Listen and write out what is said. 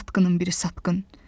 Satqının biri satqın!